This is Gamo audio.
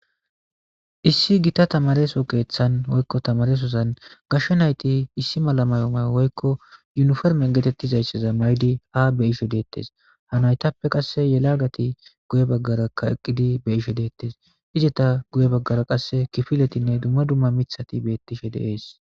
Isi gita tamareso kethan woyko tamaresozan gashe nayti issi mala woyko yunifome getetizaysa ma'idi ha be'ishe detes ha naytape yelagati guye bagaraka eqidi be'ishin detes izata guye bagara qase kifiletine duma duma mithati betishe de'es.